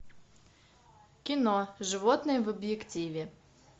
кино животные в объективе